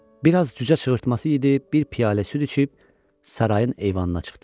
Bir az cücə çığırtması yedi, bir piyalə süd içib sarayın eyvanına çıxdı.